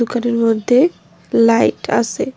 ঘরের মধ্যে লাইট আসে ।